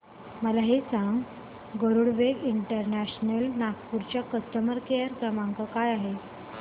मला हे सांग गरुडवेग इंटरनॅशनल नागपूर चा कस्टमर केअर क्रमांक काय आहे